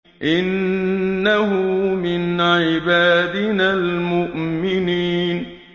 إِنَّهُ مِنْ عِبَادِنَا الْمُؤْمِنِينَ